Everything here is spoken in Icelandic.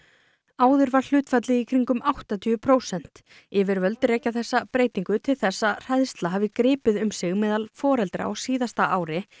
áður var í kringum áttatíu prósent yfirvöld rekja þessa breytingu til þess að hræðsla hafi gripið um sig meðal foreldra á síðasta ári